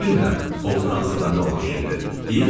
Bilirəm, o Fransada nə olan şeydir.